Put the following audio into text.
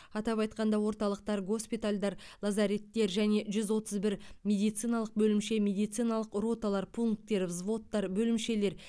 атап айтқанда орталықтар госпитальдар лазареттер және жүз отыз бір медициналық бөлімше медициналық роталар пункттер взводтар бөлімшелер